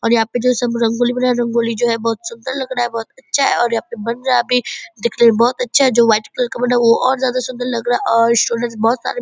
और यहाँ पे जो सब रंगोली बनाया है रंगोली जो है बहुत सुन्दर लग रहा है बहुत अच्छा है और यहाँ पे बन रहा भी दिखने में बहुत अच्छा है जो वाइट कलर का बना है वो और ज्यादा सुंदर लग रहा है और बहुत सारे --